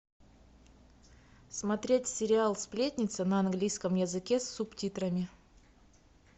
смотреть сериал сплетница на английском языке с субтитрами